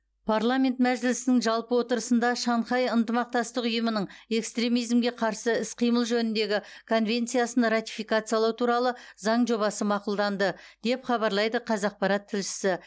парламент мәжілісінің жалпы отырысында шанхай ынтымақтастық ұйымының экстремизмге қарсы іс қимыл жөніндегі конвенциясын ратификациялау туралы заң жобасы мақұлданды деп хабарлайды қазақпарат тілшісі